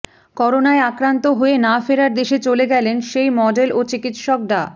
করোনায় আক্রান্ত হয়ে না ফেরার দেশে চলে গেলেন সেই মডেল ও চিকিৎসক ডা